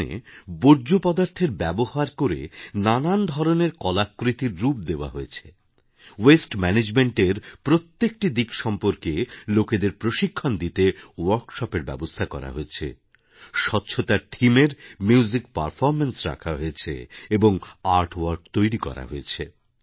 এখানে বর্জ্যপদার্থের ব্যবহার করে নানা ধরনের কলাকৃতির রূপ দেওয়া হয়েছে ওয়াস্টেম্যানেজমেন্ট এর প্রত্যেকটি দিক সম্পর্কে লোকেদের প্রশিক্ষণ দিতে ওয়ার্কশপ এর ব্যবস্থা করা হয়েছে স্বচ্ছতার থেমে এর মিউজিকপারফরম্যান্স রাখা হয়েছে এবং আর্টওয়ার্ক তৈরি করা হয়েছে